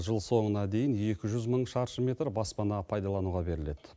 жыл соңына дейін екі жүз мың шаршы метр баспана пайдалануға беріледі